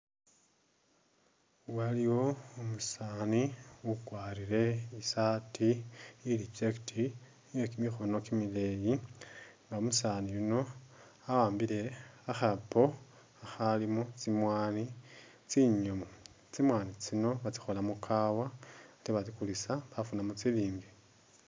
Waliwo umusani ukwarile isaati ili checket iye kimikhono kimileyi, umusani yuuno waambile khakhapo khalimo tsimwani tsinyomu tsimwani tsino batsikholamu ikaawa ate batsikulisa bafunamo silingi